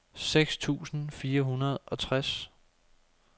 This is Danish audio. seks tusind fire hundrede og tres